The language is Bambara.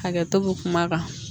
Hakɛto bɛ kuma kan